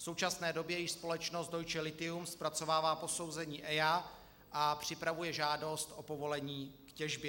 V současné době již společnost Deutsche Lithium zpracovává posouzení EIA a připravuje žádost o povolení k těžbě.